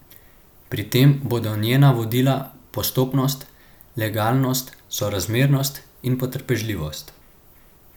Pri tem bodo njena vodila postopnost, legalnost, sorazmernost in potrpežljivost.